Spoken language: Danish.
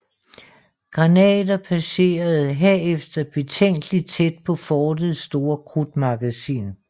Granater passerede herefter betænkelig tæt på fortets store krudtmagasin